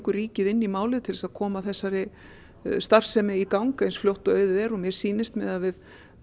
ríkið inn í málið til þess að koma þessari starfsemi í gang eins fljótt og auðið er og mér sýnist miðað við